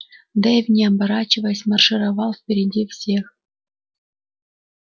дейв не оборачиваясь маршировал впереди всех